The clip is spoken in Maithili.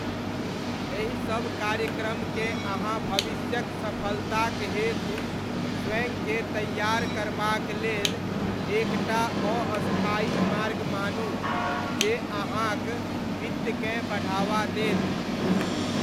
एहिसब कार्यक्रमकेँ अहाँ भविष्यक सफलताक हेतु स्वयंकेँ तैयार करबाक लेल एक टा अस्थायी मार्ग मानू जे अहाँक वित्तकेँ बढ़ावा देत।